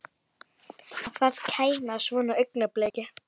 Að það kæmi að svona augnabliki.